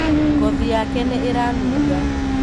Ngothi yake nīīranunga